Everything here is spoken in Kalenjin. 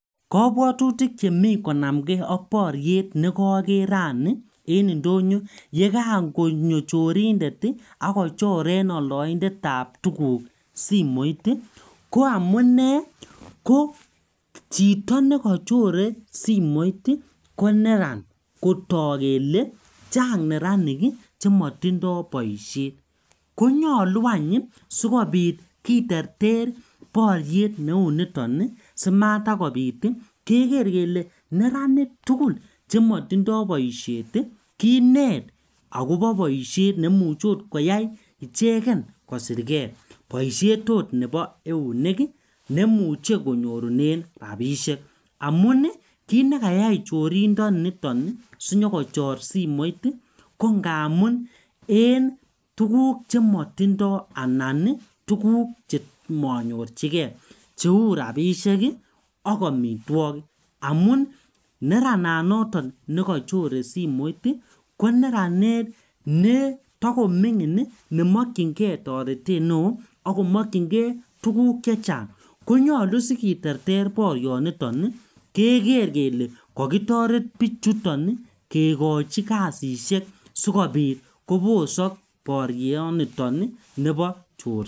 Kobwotutik chemi konam kee ak boriet nekoker rani en indonyo ye kan konyo chorindet ii ak kochoren oldoindetab tuguk simoit ii ko amune ko chito nekochore simoit ii koneran kotok kele chang neranik chemotindo boishet, konyolu any sikobit kiterter boriet neuniton ii simatakobit ii keker kele neranik tugul chemotindo boishet ii kinet akobo boishet nemuche oot koyai icheken kosirkee boishet oot nebo eunek ii nemuche konyorunen rabishek amun kit nekayai chorindoniton nii sinyokochor simoit ii ko ngamun en tuguk chemotindo anan ii tuguk chemonyorjigee cheu rabishek ak omitwogik, amun nerananoton nekochore simoit ii koneranet netokomimgin nemokyingee toretet neo mokchingee tuguk chechang konyolu sikiterter borioniton ii keker kele kokitoret bichuton ii kekochi kasishek sikobit kobosok borioniton ii nebo chorset.